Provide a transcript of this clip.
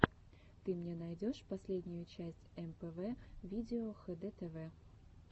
ты мне найдешь последнюю часть мпв видео хдтв